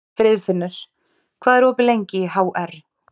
Friðfinnur, hvað er opið lengi í HR?